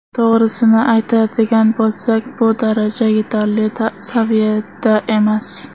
To‘g‘risini aytadigan bo‘lsak, bu daraja yetarli saviyada emas.